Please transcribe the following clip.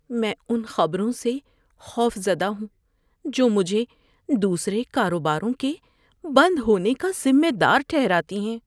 میں ان خبروں سے خوفزدہ ہوں جو مجھے دوسرے کاروباروں کے بند ہونے کا ذمہ دار ٹھہراتی ہیں۔